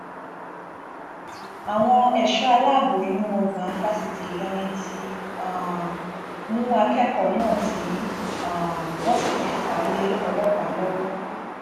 àwọn ẹṣọ aláàbọ inú ọgbà fásitì ìlọrin ti um mú akẹkọọ náà tí um wọn sì ti fà á lé ọlọpàá lọwọ